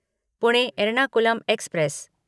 Pune Ernakulam express